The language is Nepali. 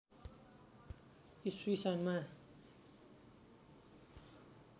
ईस्वी सन्‌मा